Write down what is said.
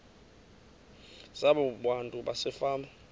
zabo abantu basefama